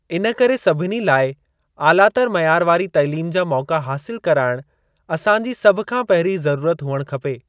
इन करे सभिनी लाइ आलातर मयार वारी तइलीम जा मौक़ा हासिल कराइणु असांजी सभ खां पहिरीं ज़रूरत हुअण खपे।